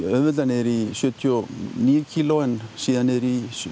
auðveldlega niður í sjötíu og níu kílógramm en síðan niður í